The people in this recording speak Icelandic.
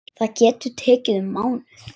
Það getur tekið um mánuð.